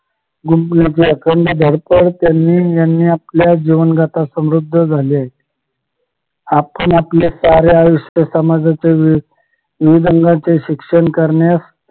त्यांनी यांनी आपल्या जीवन गाता समृद्ध झाले आपण आपले सारे आयुष्य समाजाच्या शिक्षण करण्यास